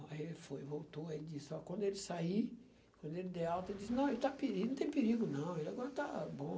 Aí ele foi evoltou, aí ele disse, ó quando ele sair, quando ele der alta, ele disse, não, ele está perigo, não tem perigo, não, ele agora está bom.